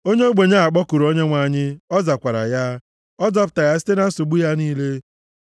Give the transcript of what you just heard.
Onye ogbenye a kpọkuru Onyenwe anyị, ọ zakwara ya; ọ zọpụtara ya site na nsogbu ya niile.